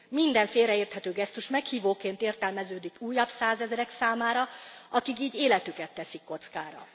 Minden félreérthető gesztus meghívóként értelmeződik újabb százezrek számára, akik így életüket teszik kockára.